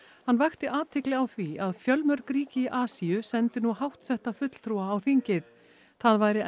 hann vakti athygli á því að fjölmörg ríki í Asíu sendi nú háttsetta fulltrúa á þingið það væri